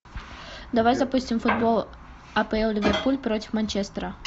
давай запустим футбол апл ливерпуль против манчестера